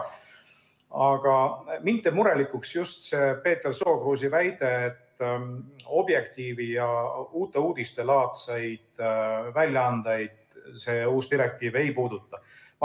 Aga mind teeb murelikuks just see Peeter Sookruusi väide, et Objektiivi ja Uute Uudiste laadseid väljaandeid see uus direktiiv ei puuduta.